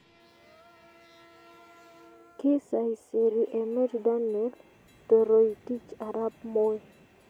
Kisaiseri emet Daniel Toroitich Arap Moi